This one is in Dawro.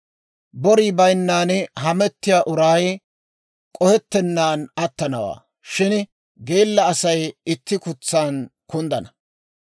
Borii bayinnan hamettiyaa uray k'ohettennan attanawaa; shin geella Asay itti kutsan kunddana.